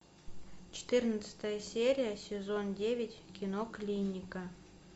четырнадцатая серия сезон девять кино клиника